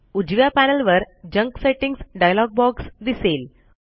उजव्या पॅनल वर junk settings dialog box दिसेल